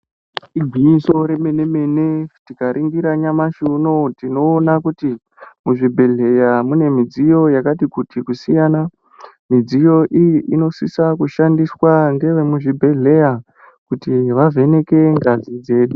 Igwinyiso remene mene tikaringira nyamashi unou tinoona kuti muzvibhedhleya mune midziyo yakati kuti kusiyana. Midziyo iyi inosisa kushandiswa ngevemuzvibhedhleya kuti vavheneke ngazi dzedu.